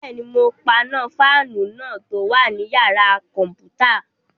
Bẹ́ẹ̀ni, mo paná fáànù náà tó wà ní yàrá-kọ̀mpútà